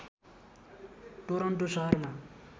Toronto सहरमा